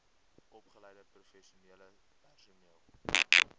opgeleide professionele personeel